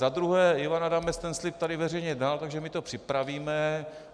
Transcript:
Za druhé, Ivan Adamec ten slib tady veřejně dal, takže my to připravíme.